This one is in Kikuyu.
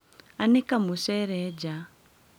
Anĩka mũcere nja.